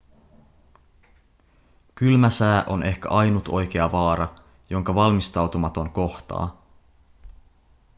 kylmä sää on ehkä ainut oikea vaara jonka valmistautumaton kohtaa